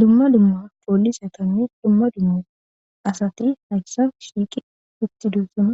dumma dumma poollisetannis dumma dumma asatii hayssan shiiqi uttidosuma